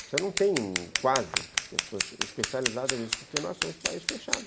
Você não tem quase pessoas especializadas nisso, porque nós somos um país fechado.